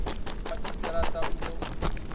madzhisi ṱira ṱa u ḓo